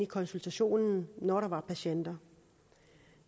konsultationen når der var patienter